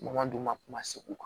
Kuma man d'u ma kuma segu kan